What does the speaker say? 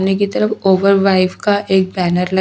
उन्हें की तरफ ओवर वाइब का एक बैनर लग --